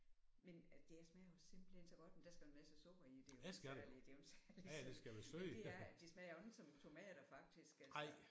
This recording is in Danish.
Men det smager jo simpelthen så godt men der skal jo en masse sukker i det er jo ikke særlig det er jo en særlig sådan men det er det smager jo ikke som tomater faktisk altså